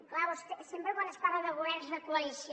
clar sempre quan es parla de governs de coalició